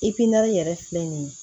yɛrɛ filɛ nin ye